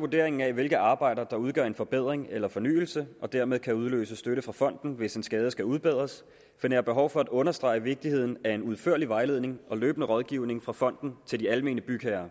vurderingen af hvilke arbejder der udgør en forbedring eller fornyelse og dermed kan udløse støtte fra fonden hvis en skade skal udbedres finder jeg behov for at understrege vigtigheden af en udførlig vejledning og løbende rådgivning fra fonden til de almene bygherrer